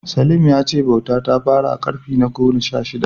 Salim ya ce bauta ta fara a ƙarni na gona sha shida.